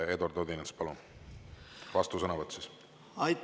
Eduard Odinets, palun, vastusõnavõtt!